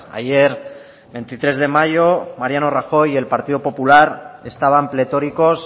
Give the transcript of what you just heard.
ayer veintitrés de mayo mariano rajoy y el partido popular estaban pletóricos